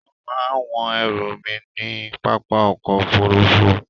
Wón má a wọ́n ẹrù mi ní pápá ọkò òfurufú.